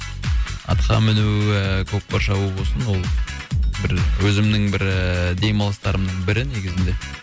атқа міну ііі көкпар шабу болсын ол бір өзімнің бір ііі демалыстарымның бірі негізінде